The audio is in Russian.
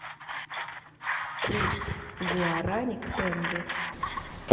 курс гуарани к тенге